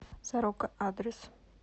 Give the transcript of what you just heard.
сорока адрес